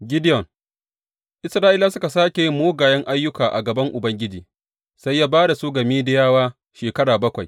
Gideyon Isra’ilawa suka sāke yin mugayen ayyuka a gaban Ubangiji, sai ya ba da su ga Midiyawa shekara bakwai.